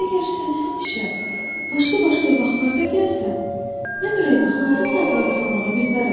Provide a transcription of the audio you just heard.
Əgər sən həmişə başqa-başqa vaxtlarda gəlsən, mən ürəyimi hansı saata hazırlamağı bilmərəm.